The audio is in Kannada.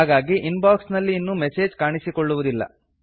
ಹಾಗಾಗಿ ಇನ್ ಬಾಕ್ಸ್ ನಲ್ಲಿ ಇನ್ನು ಮೆಸೇಜ್ ಕಾಣಿಸಿಕೊಳ್ಳುವುದಿಲ್ಲ